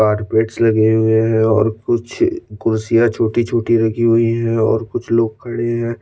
carpets लगे हुए है और कुछ कुर्सिया छोटी छोटी राखी हुई है और कुछ लोग खड़े है --